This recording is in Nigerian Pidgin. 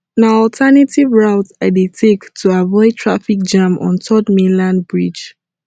na alternative routes i dey take to avoid traffic jam on third mainland bridge